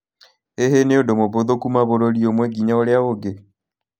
Hihi nĩ ũndũ mũhũthũ kuuma bũrũri ũmwe nginya ũrĩa ũngĩ?